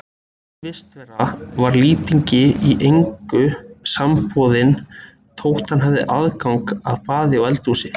Þessi vistarvera var Lýtingi í engu samboðin þótt hann hefði aðgang að baði og eldhúsi.